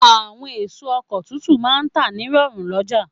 Àwọn èso oko tuntun máà ń tà ní rọ̀rùn lọ́jà